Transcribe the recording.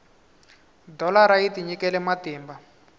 dholara yi tinyikele matimba